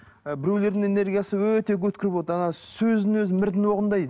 ы біреулердің энергиясы өте өткір болады ана сөзінің өзі мірдің оғындай